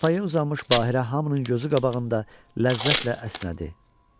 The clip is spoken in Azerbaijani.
Çarpayıya uzanmış Bahirə hamının gözü qabağında ləzzətlə əsnədi.